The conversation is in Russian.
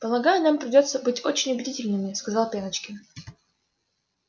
полагаю нам придётся быть очень убедительными сказал пеночкин